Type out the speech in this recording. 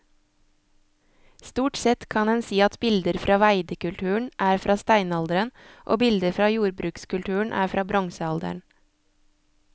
Stort sett kan en si at bilder fra veidekulturen er fra steinalderen og bilder fra jordbrukskulturen er fra bronsealderen.